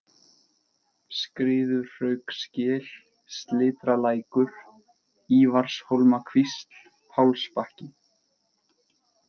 Skriðuhraugsgil, Slitralækur, Ívarshólmakvísl, Pálsbakki